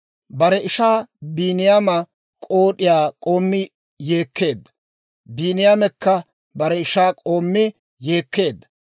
Bare ishaa Biiniyaama k'ood'iyaa k'oommi yeekkeedda; Biiniyaamekka bare ishaa k'oommi yeekkeedda.